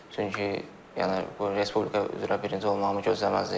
Çünki yəni bu respublika üzrə birinci olmağımı gözləməzdim.